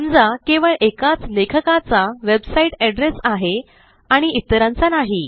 समजा केवळ एकाच लेखकाचा वेबसाईट एड्रेस आहे आणि इतरांचा नाही